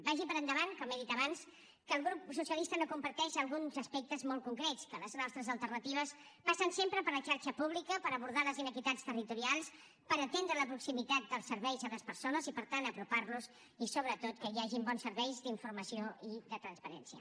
vagi per endavant com he dit abans que el grup socialista no comparteix alguns aspectes molt concrets que les nostres alternatives passen sempre per la xarxa pública per abordar les inequitats territorials per atendre la proximitat dels serveis a les persones i per tant apropar los i sobretot que hi hagin bons serveis d’informació i de transparència